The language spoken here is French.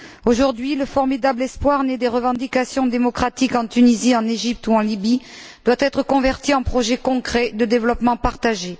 Aujourd'hui, le formidable espoir né des revendications démocratiques en Tunisie, en Égypte ou en Libye doit être converti en projets concrets de développement partagé.